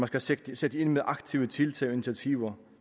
skal sættes ind med aktive tiltag og initiativer